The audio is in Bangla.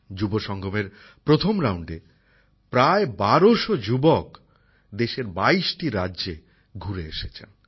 যুব সঙ্গমের প্রথম পর্বে প্রায় ১২০০ যবেযুবতী দেশের বাইশটি রাজ্যে ঘুরে এসেছেন